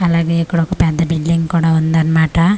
అలాగే ఇక్కడొక పెద్ద బిల్డింగ్ కూడా ఉందన్మాట.